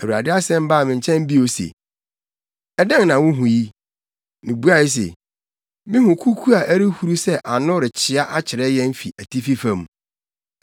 Awurade asɛm baa me nkyɛn bio se, “Dɛn na wuhu yi?” Mibuae se, “Mihu kuku a ɛrehuru sɛ ano rekyea akyerɛ yɛn fi atifi fam.”